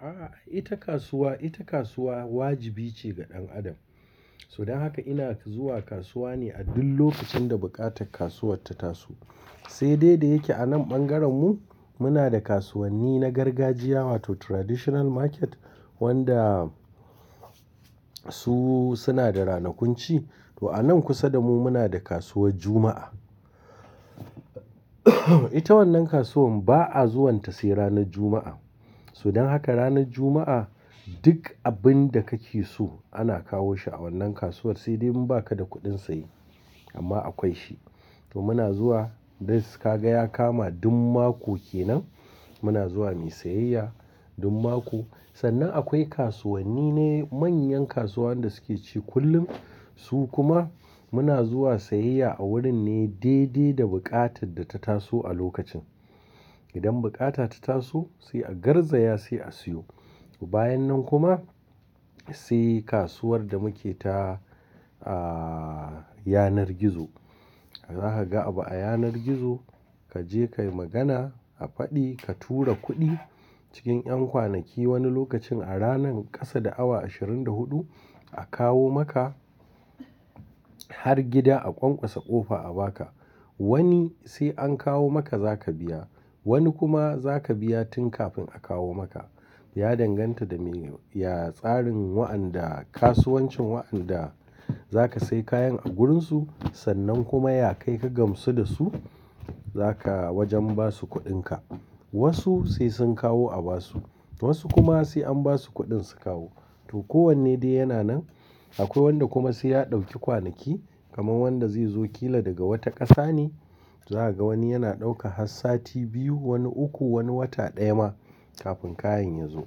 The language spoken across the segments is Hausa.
A'a ita kasuwa, ita kasuwa wajibi ce ga ɗan adam. So dan haka ina zuwa kasuwa ne a duk lokacin da buƙatar kasuwar ta tasu. Sai dai da yake a nan ɓangaren mu muna da kasuwanni na gargajiya wato traditional market wanda su suna da ranakun ci. To a nan kusa da mu muna da kasuwar Juma'a. Ita wannan kasuwan ba a zuwanta sai ranar Juma'a. So don haka ranar Juma'a duk abin da kake so ana kawo shi a wannan kasuwar sai dai in ba ka da kuɗin saye amma akwai shi. To muna zuwa dai ka ga ya kama duk mako kenan muna zuwa muyi sayayya duk maku. Sannan akwai kasuwanni na manyan kasuwannan da suke ci kullum su kuma muna zuwa sayayya a wurin ne dai dai da buƙatar da ta tasu a lokacin. Idan buƙata ta taso sai a garzaya sai a siyo. Bayan nan kuma sai kasuwar da muke ta, ah, yanar gizo. Za ka ga abu a yanar gizo kaje kayi magana a faɗi ka tura kuɗi cikin ƴan kwanaki wani lokacin a ranan ƙasa da awa ashirin da huɗu a kawo maka har gida a ƙwaƙwasa ƙofa a baka. Wani sai an kawo maka zaka biya, wani kuma zaka biya tun kafin a kawo maka. Ya danganta da me, ya tsarin wa'anda kasuwancin wa'anda zaka sayi kayan a wurinsu sannan kuma ya kai ka gamsu da su zaka wajen basu kuɗinka. Wasu sai sun kawo a basu, toh wasu kuma sai an basu kuɗin su kawo. To kowanne dai yana nan. Akwai wanda kuma sai ya ɗauki kwanaki kaman wanda zai zo kila daga wata ƙasa ne. Za ka ga wani yana ɗauka har sati biyu, wani uku, wani wata ɗaya ma kafin kayan ya zo.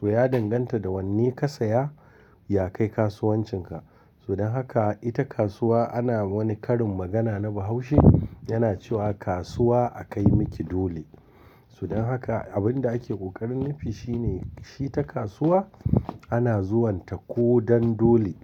Toh ya danganta da wanne ka saya, ya kayi kasuwancinka. So don haka ita kasuwa ana wani karin magana na Bahaushe yana cewa kasuwa a kai miki dole. So don haka abin da ake ƙoƙarin nufi shine shi ta kasuwa ana zuwanta ko dan dole.